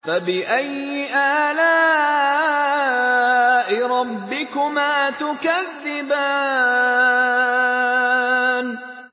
فَبِأَيِّ آلَاءِ رَبِّكُمَا تُكَذِّبَانِ